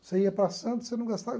Você ia para Santos, você não gastava.